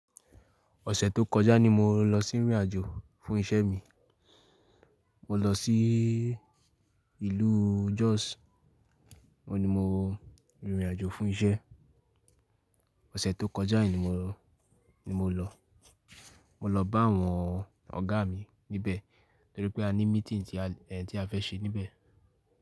Ọ̀sẹ̀ tó kọjá ni mo lọ sí ìrìnàjò fún iṣẹ́ mi. Mo lọ sí ìlú Jos. Ó ni mo rìn ìrìnàjò fún iṣẹ́. Ọ̀sẹ̀ tó kọjá yìí ni mo, ni mo lọ. Mo lọ bá àwọn ọ̀gá mi níbẹ̀ torí pé a ní meeting tí a, ẹ́, tí a fẹ́ ṣe níbẹ̀.